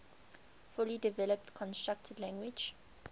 fully developed constructed language